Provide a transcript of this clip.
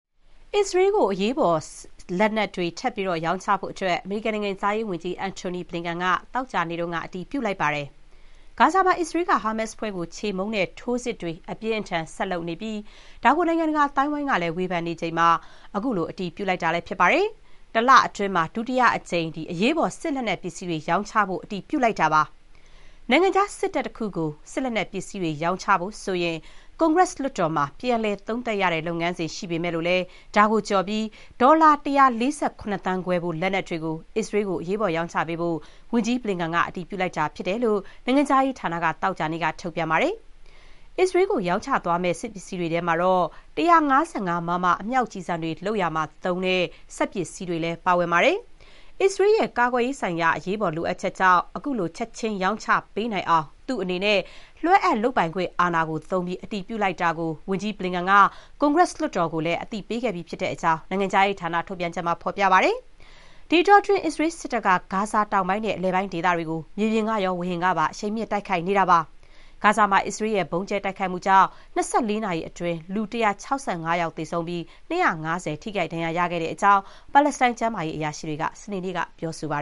အစ္စရေးကို အရေးပေါ်လက်နက်တွေ ထပ်မံရောင်းချဖို့ အမေရိကန်နိုင်ငံခြားရေးဝန်ကြီး Antony Blinken က သောကြာနေ့က အတည်ပြု လိုက်ပါတယ်။ ဂါဇာမှာ အစ္စရေးက ဟာမတ်စ်အဖွဲ့ကို ချေမှုန်းတဲ့ထိုးစစ်တွေ အပြင်းအထန် ဆက်ဖြစ်နေပြီး ဒါကို နိုင်ငံတကာ အသိုင်းအဝိုင်းကလည်း ဝေဖန်နေချိန်မှာ ခုလို အတည်ပြုလိုက်တာပါ။ တလအတွင်း ဒုတိယအကြိမ် အရေးပေါ်လက်နက်တွေရောင်းချဖို့ အတည်ပြုလိုက်တာလည်း ဖြစ်ပါတယ်။ နိုင်ငံခြားစစ်တပ်တခုကို စစ်လက်နက်ပစ္စည်းတွေ ရောင်းချဖို့ဆိုရင် ကွန်ဂရက်လွှတ်တော်မှာ ပြန်လည် သုံးသပ်ရတဲ့ လုပ်ငန်းစဥ် ရှိပေမဲ့လည်း ဒါကိုကျော်ပြီး ဒေါ်လာ ၁၄၇ သန်းခွဲဖိုး လက်နက်တွေ အစ္စရေးကို အရေးပေါ် ရောင်းချပေးဖို့ ဝန်ကြီး Blinken က အတည်ပြုလိုက်တယ်လို့ နိုင်ငံခြားရေးဌာနက သောကြာနေ့က ထုတ်ပြန်ပါတယ်။ အစ္စရေးကို ရောင်းချသွားမယ့်ပစ္စည်းတွေထဲမှာတော့ ၁၅၅ မမ အမြောက်ကျည်ဆံတွေ လုပ်ရာမှာသုံးတဲ့ စက်ပစ္စည်းတွေ ပါပါတယ်။ အစ္စရေးရဲ့ ကာကွယ်ရေးဆိုင်ရာ အရေးပေါ် လိုအပ်ချက်ကြောင့် ခုလို ချက်ချင်းရောင်းချပေးနိုင်အောင် သူ့အနေနဲ့ လွှဲအပ်လုပ်ပိုင်ခွင့် အာဏာသုံးပြီး အတည်ပြုလိုက်တာကို ဝန်ကြီး Blinken က ကွန်ဂရက်လွှတ်တော်ကိုလည်း အသိပေးခဲ့ပြီးဖြစ်ကြောင်း နိုင်ငံခြားရေးဌာန ထုတ်ပြန်ချက်မှာ ဖော်ပြထားပါတယ်။ ဒီအတောအတွင်း အစ္စရေးစစ်တပ်က ဂါဇာတောင်ပိုင်းနဲ့ အလယ်ပိုင်းဒေသတွေကို မြေပြင်ကရော ဝေဟင်ကပါ အရှိန်မြှင့် တိုက်ခိုက်နေပါတယ်။ ဂါဇာမှာ အစ္စရေးရဲ့ ဗုံးကြဲတိုက်ခိုက်မှုတွေကြောင့် ၂၄ နာရီအတွင်း လူ ၁၆၅ ယောက်သေဆုံးပြီး ၂၅၀ ထိခိုက် ဒဏ်ရာရခဲ့တဲ့အကြောင်း ပါလက်စတိုင်း ကျန်းမာရေးအရာရှိတွေက စနေနေ့က ပြောပါ